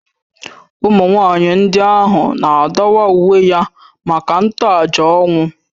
Ụmụ nwaanyị ndị ahụ na-adọwa uwe ya maka ntoaja ọnwụ